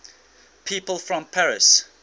people from paris